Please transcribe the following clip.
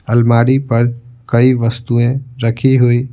अलमारी पर कई वस्तुएं रखी हुई--